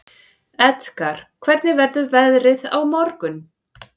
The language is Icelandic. Edgar, hvernig verður veðrið á morgun?